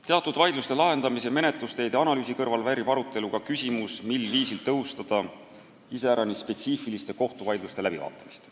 Teatud vaidluste lahendamise menetlusteede analüüsi kõrval väärib arutelu ka küsimus, mil viisil tõhustada iseäranis spetsiifiliste kohtuvaidluste läbivaatamist.